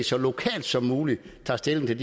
så lokalt som muligt tager stilling til